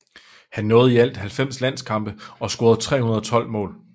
Han nåede i alt 90 landskampe og scorede 312 mål